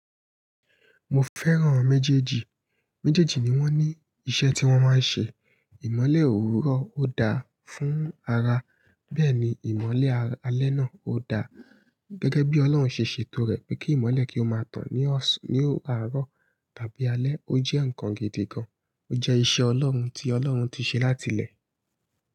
Mo fẹ́ràn méjèèjì. Méjèèjì ni wọ́n ní iṣẹ́ tí wọ́n máa ń ṣe. Ìmọ́lẹ̀ òwúrọ̀ ó dáa fún ara. Bẹ́ẹ̀ ni ìmọ́lẹ̀ alẹ́ náà ó dáa. Gẹ́gẹ́ bí Ọlọ́run ṣe ṣètò rẹ̀ pé kí ìmọ́lẹ̀ kí ó máa tàn ní ọ̀sán, ní òwúrọ̀ tàbí alẹ́. Ó jẹ́ nǹkan gidi gan. Ó jẹ́ iṣẹ́ Ọlọ́run tí Ọlọ́run ti ṣe láti lẹ́ẹ̀.